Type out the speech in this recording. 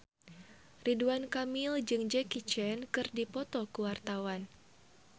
Ridwan Kamil jeung Jackie Chan keur dipoto ku wartawan